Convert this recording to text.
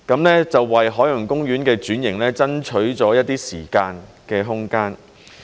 那就為海洋公園的轉型爭取了一些時間和空間。